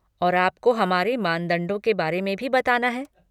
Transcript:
और आपको हमारे मानदंडों के बारे में भी बताना है।